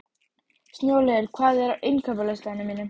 Snjólaugur, hvað er á innkaupalistanum mínum?